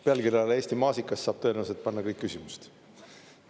Pealkirjale "Eesti maasikas" saab tõenäoliselt panna kõik küsimused.